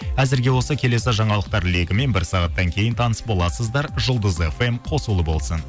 әзірге осы келесі жаңалықтар легімен бір сағаттан кейін таныс боласыздар жұлдыз фм қосулы болсын